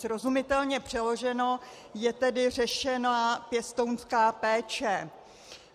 Srozumitelně přeloženo, je tedy řešená pěstounská péče.